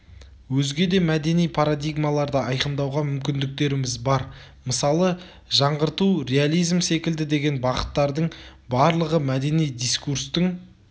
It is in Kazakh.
өзге де мәдени парадигмаларды айқындауға мүмкіндіктеріміз бар мысалы жаңғырту реализм секілді деген бағыттардың барлығы мәдени дискурстың